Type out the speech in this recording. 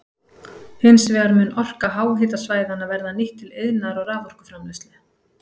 Hins vegar mun orka háhitasvæðanna verða nýtt til iðnaðar og raforkuframleiðslu.